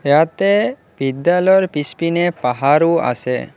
ইয়াতে বিদ্যালয়ৰ পিছপিনে পাহৰো আছে।